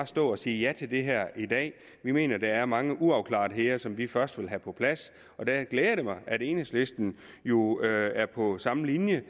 stå og sige ja til det her i dag vi mener at der er mange uafklaretheder som vi først vil have på plads og det glæder mig at enhedslisten jo er på samme linje